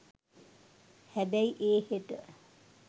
හැබැයි ඒ හෙට